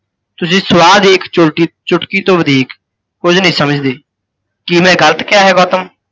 ਤੁਸੀਂ ਸਵਾ ਦੀ ਇੱਕ ਛੋਟੀ ਚੁੱਟਕੀ ਤੋਂ ਵਧਿਕ ਕੁੱਝ ਨਹੀਂ ਸਮਝਦੇ, ਕੀ ਮੈਂ ਗਲਤ ਕਿਹਾ ਹੈ ਗੌਤਮ?